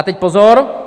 A teď pozor.